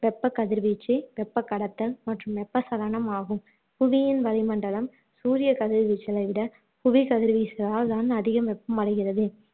வெப்ப கதிர் வீச்சு, வெப்பக் கடத்தல் மற்றும் வெப்ப சலனம் ஆகும் புவியின் வளிமண்டலம் சூரிய கதிர்வீச்சுகளை விட புவி கதிர்வீச்சுகளால் தான் அதிக வெப்பம் அடைகிறது